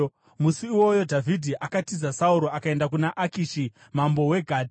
Musi iwoyo Dhavhidhi akatiza Sauro akaenda kuna Akishi mambo weGati.